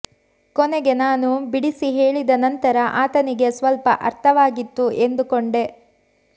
ಕೊನೆಗೆ ನಾನು ಬಿಡಿಸಿ ಹೇಳಿದ ನಂತರ ಆತನಿಗೆ ಸ್ವಲ್ಪ ಅರ್ಥವಾಗಿತ್ತು ಎಂದುಕೊಂಡೆ